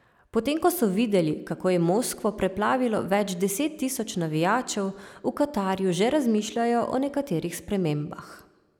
Potem ko so videli, kako je Moskvo preplavilo več deset tisoč navijačev, v Katarju že razmišljajo o nekaterih spremembah.